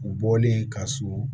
U bɔlen ka so